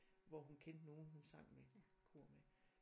Hvor hun kendte nogen hun sang med kor med